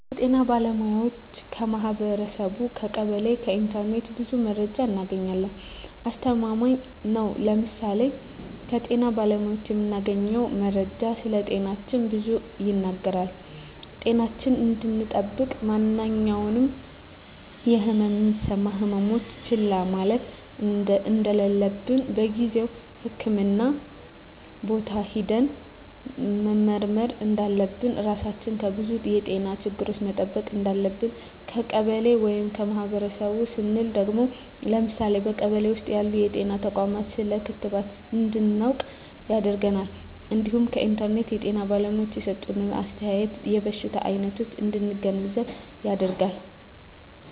ከጤና ባለሙያዎች ,ከማህበረሰቡ , ከቀበሌ ,ከኢንተርኔት ብዙ መረጃ እናገኛለን። አስተማማኝ ነው ለምሳሌ ከጤና ባለሙያዎች የምናገኘው መረጃ ስለጤናችን ብዙ ይናገራል ጤናችን እንድጠብቅ ማንኛውም የህመም የሚሰማን ህመሞች ችላ ማለት እንደለለብን በጊዜው ህክምህና ቦታ ሄደን መመርመር እንዳለብን, ራሳችን ከብዙ የጤና ችግሮች መጠበቅ እንዳለብን። ከቀበሌ ወይም ከማህበረሰቡ ስንል ደግሞ ለምሳሌ በቀበሌ ውስጥ ያሉ ጤና ተቋማት ስለ ክትባት እንድናውቅ ያደርገናል እንዲሁም ከኢንተርኔት የጤና ባለሙያዎች የሰጡትን አስተያየት የበሽታ አይነቶች እንድንገነዘብ ያደርጋል።